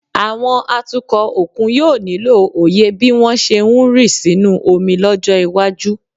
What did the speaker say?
Àwọn atukọ̀ òkun yóò nílò òye bí wọ́n ṣe ń rì sínú omi lọ́jọ́ iwájú